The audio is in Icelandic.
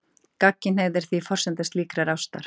Gagnkynhneigð er því forsenda slíkrar ástar.